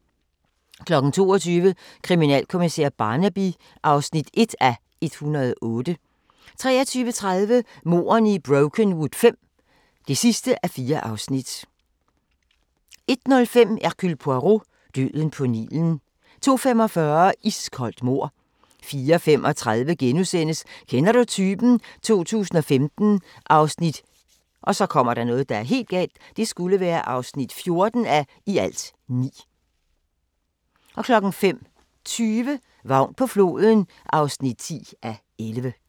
22:00: Kriminalkommissær Barnaby (1:108) 23:30: Mordene i Brokenwood V (4:4) 01:05: Hercule Poirot: Døden på Nilen 02:45: Iskoldt mord 04:35: Kender du typen? 2015 (14:9)* 05:20: Vagn på floden (10:11)